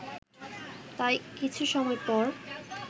তাই কিছু সময় পর